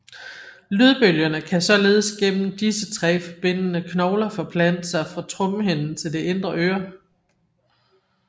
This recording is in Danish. Lydbølgerne kan således gennem disse tre forbindende knogler forplante sig fra trommehinden til det indre øre